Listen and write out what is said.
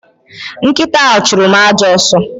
Nkita ha churu m ajo aso